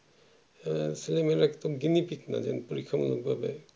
ছেলে মেয়েরা একদম gunie-pig পরীক্ষা মূলক ভাবে